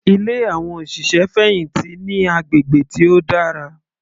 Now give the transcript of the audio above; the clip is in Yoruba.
Ilé àwọn òṣìṣẹ́ fẹ̀hìntì ní agbègbè tí ó dára.